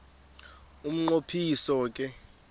umnqo phiso ke